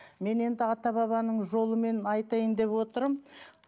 мен енді ата бабаның жолымен айтайын деп отырмын